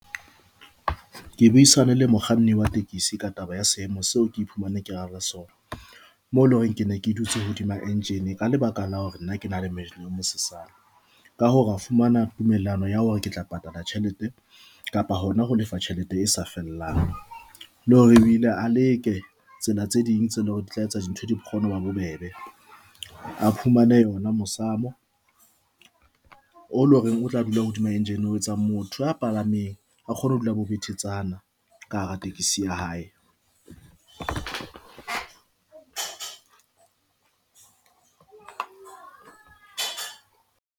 Ke buisane le mokganni wa tekesi ka taba ya seemo seo ke iphumane ke le hare ho sona mo leng hore ke ne ke dutse hodima engine ka lebaka la hore nna ke na le mmele mosesane. Ka hoo ra fumana tumellano ya hore ke tla patala tjhelete kapa hona ho lefa tjhelete e sa fellang le hore e bile a leke tsela tse ding tse leng hore di tla etsa dintho di kgone ho ba bobebe a fumane yona mosamo o lo reng o tla dula hodima engine ho etsa motho ya palameneng a kgone ho dula betetshana ka hara tekesi ya hae.